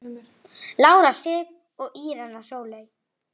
Harðri baráttu er nú lokið.